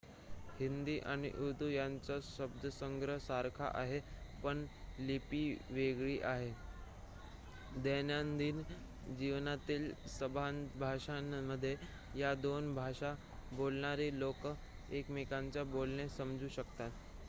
हिंदी आणि उर्दू यांचा शब्दसंग्रह सारखा आहे पण लिपी वेगळी आहे दैनंदिन जीवनातील संभाषणांमध्ये या दोन भाषा बोलणारे लोक एकमेकांचे बोलणे समजू शकतात